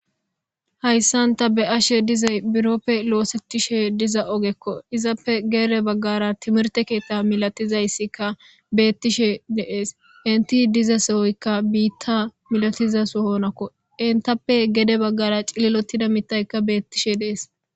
hayssan ta be'ashe dizay biroppe loosetishe diza ogekko izappe geede baggara timirte keetta milatizayssikka beettishe de'ees inti diza sehoykka biitta milatizashoonakko intappe gede baggara cililotida mitaykka beettishe dees